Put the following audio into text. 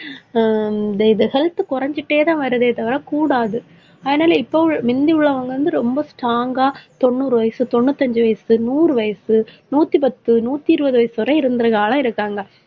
ஹம் இது health குறைஞ்சிட்டேதான் வருதே தவிர கூடாது. அதனால, இப்போ முந்தி உள்ளவங்க வந்து ரொம்ப strong ஆ தொண்ணூறு வயசு, தொண்ணூத்தி அஞ்சு வயசு, நூறு வயசு, நூத்தி பத்து, நூத்தி இருபது வயசு வரை, இருந்திருக்கவங்களா இருக்காங்க.